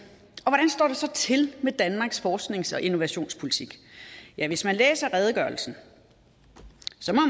så til med danmarks forsknings og innovationspolitik ja hvis man læser redegørelsen